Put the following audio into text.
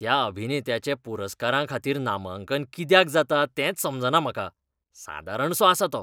त्या अभिनेत्याचें पुरस्कारांखातीर नामांकन कित्याक जाता तेंच समजना म्हाका. सादारणसो आसा तो.